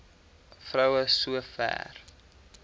vrou so ver